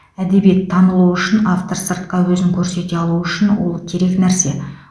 әдебиет танылуы үшін автор сыртқа өзін көрсете алуы үшін ол керек нәрсе